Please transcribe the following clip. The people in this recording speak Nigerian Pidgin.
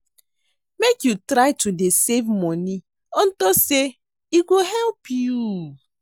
Make you try to dey save money unto say e go help you